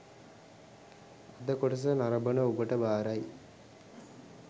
අද කොටස නරඹන ඔබට භාරයි